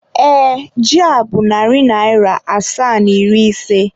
ee, ji a bụ narị naira asaa na iri isii.